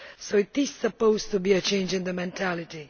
so it is supposed to be a change in mentality.